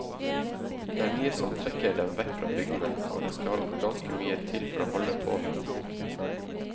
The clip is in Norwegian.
Det er mye som trekker dem vekk fra bygdene, og det skal ganske mye til for å holde på dem.